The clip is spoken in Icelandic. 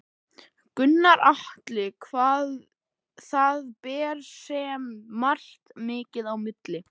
Gunnar Atli: Það ber sem sagt mikið á milli?